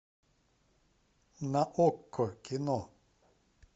на окко кино